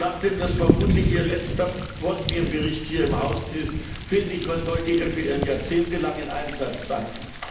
Und nachdem das vermutlich ihr letzter Bosnien Bericht hier im Haus ist, finde ich, man sollte ihr für ihren jahrzehntelangen Einsatz danken!